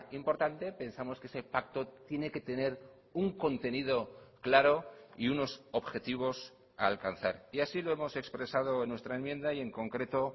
importante pensamos que ese pacto tiene que tener un contenido claro y unos objetivos a alcanzar y así lo hemos expresado en nuestra enmienda y en concreto